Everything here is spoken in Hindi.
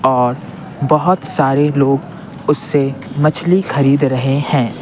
और बहुत सारे लोग उससे मछली खरीद रहे हैं।